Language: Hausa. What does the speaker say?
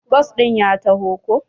Bas ɗin ya taho ko